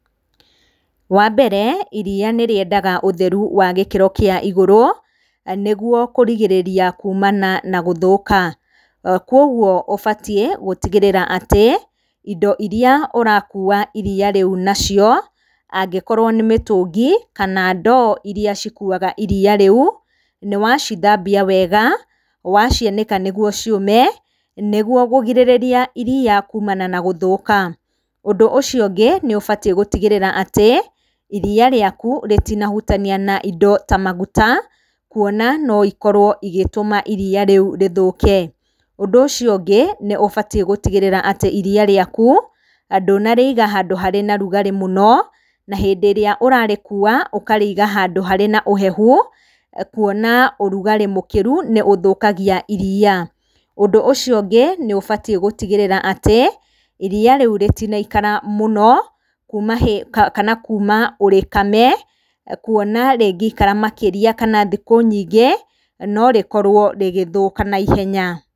Wambere iria nĩrĩendaga ũtheru wa gĩkĩro kĩa igũrũ nĩguo kũrigĩrĩria kumana na gũthũka, kuoguo ũbatiĩ gũtigĩrĩra atĩ indo iria ũrakua iria rĩu nacio angĩkorwo nĩ mĩtũngi, kana ndoo iria cikuaga iria rĩu, nĩwacithambia wega, wacianĩka nĩguo ciũme, nĩguo kũgirĩrĩria iria rĩu kumana na gũthũka. Ũndũ ũcio ũngĩ, nĩũbatiĩ gũtigĩrĩra atĩ iria rĩaku rĩtinahutania na indio ta maguta, kuona no ikorwo igĩtũma iria rĩu rĩthũke. Ũndũ ũcio ũngĩ, nĩũbatiĩ gũtigĩrĩra atĩ iria rĩaku ndũnarĩiga handũ harĩ na rugarĩ mũno na hĩndĩ ĩrĩa ũrarĩkua ũkarĩiga handũ harĩ na ũhehu kuona ũrugarĩ mũkĩru nĩũthũkagaia iria. Ũndũ ũcio ũgĩ, nĩũbatiĩ gũtigĩrĩra atĩ, iria rĩu rĩtinaikara mũno kuma hĩ kana kuma ũrĩkame, kuona rĩngĩikara makĩria kana thikũ nyingĩ no rĩkorwo rĩgĩthũka naihenya.